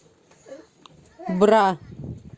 бра